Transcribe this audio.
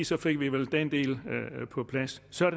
så fik vi vel den del på plads så er